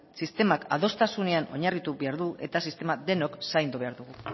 sistemak adostasunean oinarritu behar du eta sistema denok zaindu behar dugu